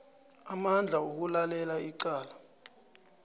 amandla wokulalela icala